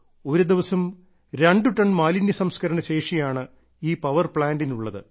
ഒരുദിവസം രണ്ടു ടൺ മാലിന്യസംസ്കരണ ശേഷിയാണ് ഈ പവർ പ്ലാന്റിനുള്ളത്